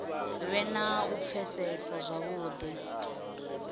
vhe na u pfesesa zwavhudi